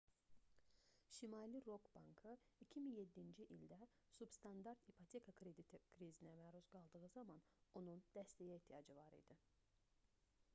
şimali rock bankı 2007-ci ildə substandart ipoteka krediti krizinə məruz qaldığı zaman onun dəstəyə ehtiyacı var idi